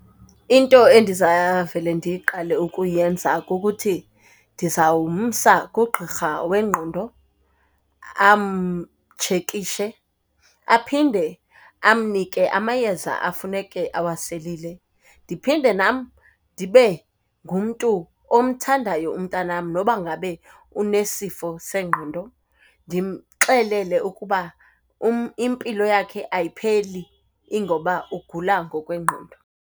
Into endizawuvele ndiyiqale ukuyenza kukuthi, ndizawumsa kugqirha wengqondo amtshekitshe, aphinde amnike amayeza afuneke awaselile. Ndiphinde nam ndibe ngumntu omthandayo umntanam noba ngabe unesifo sengqondo, ndimxelele ukuba impilo yakhe ayipheli ingoba ugula ngokwengqondo.